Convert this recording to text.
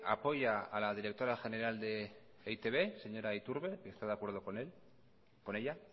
apoya a la directora general de e i te be señora iturbe está de acuerdo con ella